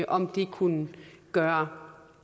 om de kunne gøre